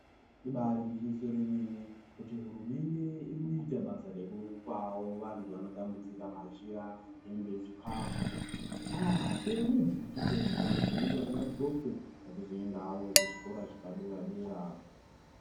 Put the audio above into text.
Ibaari gwinyiso remene kuti hurumende irikuita basa rekupawo antu anotambudzika machira, hembe, chikafu. Ahh! Chero nebhutsu chaidzo chaidzo dzekuti vanthu vaxoke vachizoendawo kuzvikora zvepadera-dera.